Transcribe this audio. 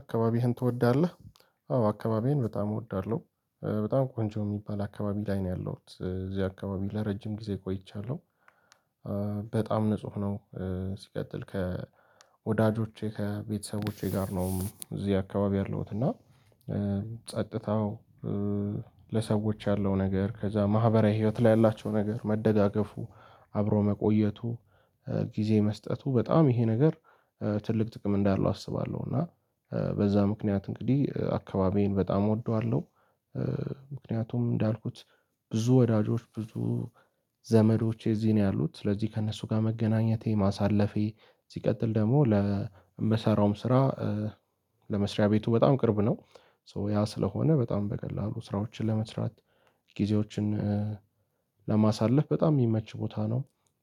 አካባቢህን ትወዳለህ? አዎ አካባቢዬን በጣም እወዳለሁ በጣም ቆንጆ የሚባል አካባቢ ላይ ነው ያለሁት እዚህ አካባቢ ለረጅም ጊዜ ቆይቻለሁ። በጣም ንጹህ ነው። ሲቀጥል ከወዳጆቼ ከቤተሰቦቼ ጋር ነው እዚህ አካባቢ ያለውት እና ጸጥታው ለሰዎች ያለው ነገር ከዛ ማህበራዊ ህይወት ላይ ያላቸው ነገር መደጋገፉ አብሮ መቆየቱ ጊዜ መስጠቱ በጣም ይሄ ነገር ትልቅ ጥቅም እንዳለው አስባለሁ እና በዛ ምክንያት እንግዲህ አካባቢዬን በጣም እወደዋለሁ። ምክንያቱም እንዳልኩት ብዙ ወዳጆች ብዙ ዘመዶቼ እዚህ ነው ያሉት ስለዚህ ከእነሱ ጋር መገናኘቴ ማሳለፌ ሲቀጥል ደግሞ ለምሰራውም ስራ ለመስሪያ ቤቱ በጣም ቅርብ ነው ሶ ያ ስለሆነ በጣም በቀላሉ ስራዎችን ለመስራት ጊዜዎችን ለማሳለፍ በጣም የሚመች ቦታ ነው።